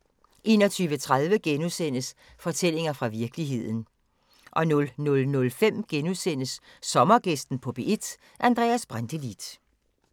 21:30: Fortællinger fra virkeligheden * 00:05: Sommergæsten på P1: Andreas Brantelid *